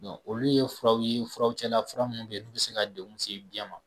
olu ye furaw ye furaw cɛla fura minnu bɛ yen n'u bɛ se ka degun lase den ma